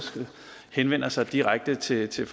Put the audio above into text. henvender sig direkte til til